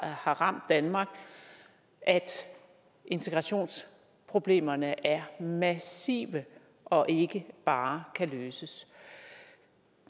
har ramt danmark at integrationsproblemerne er massive og ikke bare kan løses